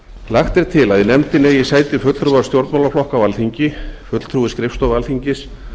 lagt er til að í nefndinni eigi sæti fulltrúar stjórnmálaflokka á alþingi fulltrúi skrifstofu alþingis